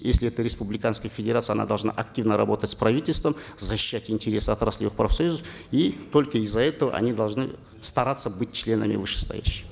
если это республиканская федерация она должна активно работать с правительством защищать интересы отраслевых профсоюзов и только из за этого они должны стараться быть членами вышестоящей